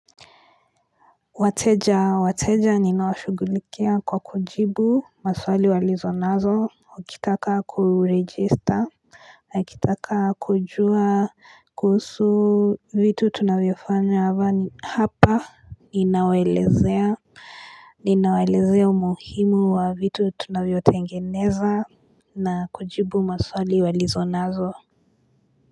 Wateja wateja ninawashugulikia kwa kujibu maswali walizo nazo wa kitaka kuregister na kitaka kujua kuusu vitu tu navyofanya hava hapa ninawaelezea ninawaelezea umuhimu wa vitu tunavyo tengeneza na kujibu maswali walizo nazo.